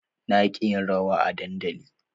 Na ƙi yin rawa a dandali.